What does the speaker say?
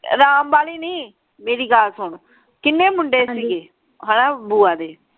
ਰਾਮ ਵਾਲੀ ਨਾਈ ਮੇਰੀ ਗਲ ਸੁਨ ਕਿੰਨੇ ਮੁੰਡੇ ਸੀਗੇ ਹੈਂ ਬੁਆ ਦੇ?